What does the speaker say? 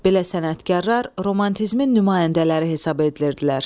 Belə sənətkarlar romantizmin nümayəndələri hesab edilirdilər.